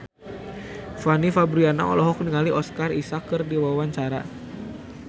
Fanny Fabriana olohok ningali Oscar Isaac keur diwawancara